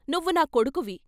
నువ్వు నా కొడుకువి.